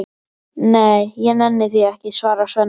Nei, ég nenni því ekki, svarar Svenni.